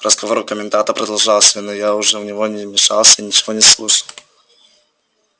разговор у коменданта продолжался но я уже в него не мешался и ничего не слушал